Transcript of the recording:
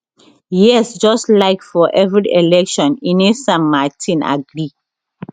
yes just like for every election ines san martin agree